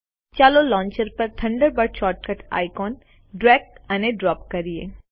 ચાલો લોન્ચર પર Thunderbird shortcut આઇકોનને ડ્રેગ અને ડ્રોપ કરીએ